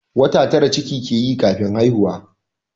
Wata tara ciki ke yi kafin haihuwa